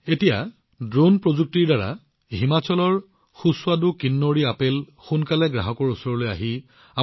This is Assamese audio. এতিয়া ড্ৰোন প্ৰযুক্তিৰ সহায়ত হিমাচলৰ সুস্বাদু কিন্নৌৰী আপেল অধিক দ্ৰুততাৰে মানুহৰ ওচৰলৈ আহিবলৈ আৰম্ভ কৰিব